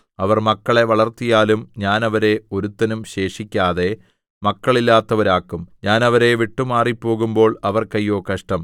അവർ മക്കളെ വളർത്തിയാലും ഞാൻ അവരെ ഒരുത്തനും ശേഷിക്കാതെ മക്കളില്ലാത്തവരാക്കും ഞാൻ അവരെ വിട്ടു മാറിപ്പോകുമ്പോൾ അവർക്ക് അയ്യോ കഷ്ടം